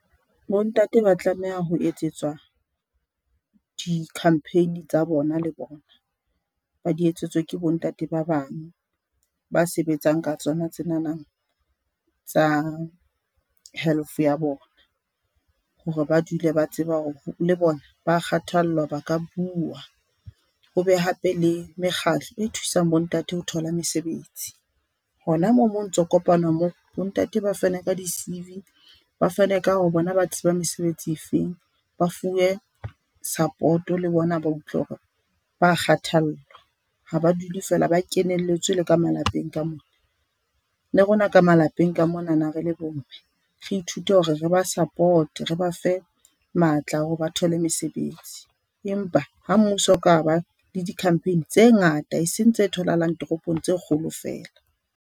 Bo ntate ba tlameha ho etsetswa di-campaign tsa bona le bona, ba di etsetswe ke bo ntate ba bang ba sebetsang ka tsona tse nanang tsa health ya bona, hore ba dule ba tseba hore le bona ba kgathallwa ba ka buwa ho be hape le mekgatlo e thusang bo ntate ho thola mesebetsi. Hona moo mo ntso kopanwa moo bo ntate ba fane ka di C_V ba fane ka ho re bona ba tseba mesebetsi e feng ba fuwe support-o le bona, ba utlwe hore ba kgathallwa ha ba dule fela ba kenelletswe le ka malapeng ka mona. Le rona ka malapeng ka mona re le bo mme re ithute hore re ba support-e, re ba fe matla hore ba thole mesebetsi, empa ha mmuso o kaba le di-campaign tse ngata e seng tse tholahalang toropong tse kgolo fela.